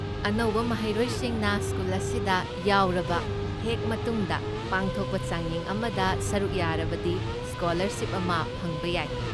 ꯑꯅꯧꯕ ꯃꯍꯩꯔꯣꯏꯁꯤꯡꯅ ꯁ꯭ꯀꯨꯜ ꯑꯁꯤꯗ ꯌꯥꯎꯔꯕ ꯍꯦꯛ ꯃꯇꯨꯡꯗ ꯄꯥꯡꯊꯣꯛꯄ ꯆꯥꯡꯌꯦꯡ ꯑꯃꯗ ꯁꯔꯨꯛ ꯌꯥꯔꯕꯗꯤ ꯁ꯭ꯀꯣꯂꯔꯁꯤꯞ ꯑꯃ ꯐꯪꯕ ꯌꯥꯏ꯫